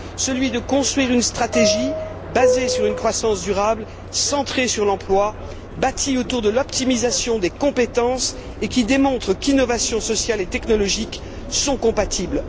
Celui de construire une stratégie basée sur une croissance durable centrée sur l'emploi, bâtie autour de l'optimisation des compétences et qui démontre qu'innovations sociale et technologique sont compatibles.